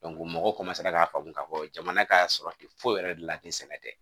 mɔgɔ k'a faamu k'a fɔ jamana ka sɔrɔ ten foyi yɛrɛ de la tɛ sɛnɛ tɛ